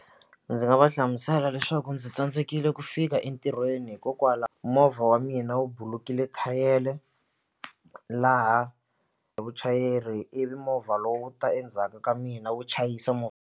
Ndzi nga va hlamusela leswaku ndzi tsandzekile ku fika entirhweni movha wa mina wu bulukile thayele laha vuchayeri ivi movha lowu ta endzhaku ka mina wu chayisa .